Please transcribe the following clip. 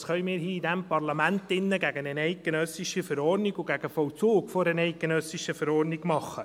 Was können wir hier in diesem Parlament drin gegen eine eidgenössische Verordnung und gegen den Vollzug einer eidgenössischen Verordnung tun?